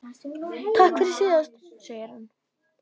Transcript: Takk fyrir síðast, segir hann.